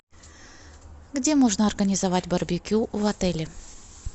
где можно организовать барбекю в отеле